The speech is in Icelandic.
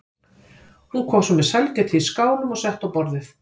Hún kom svo með sælgætið í skálum og setti á borðið.